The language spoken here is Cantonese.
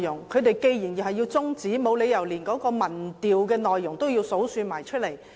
他們既然要中止辯論，沒理由連民意調查的內容都一一交代。